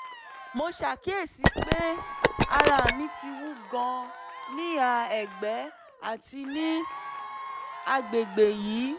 mo ṣàkíyèsí pé ara mi ti wú gan-an níhà ẹ̀gbẹ́ àti ní àgbègbè yìí